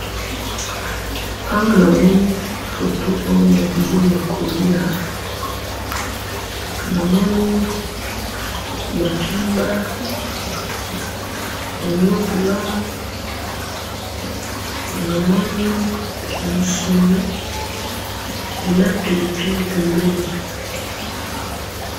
awa na moni photo oyo ya bilei yako lia na moni makimba onion blanc na moni musuni na pilipili pembeni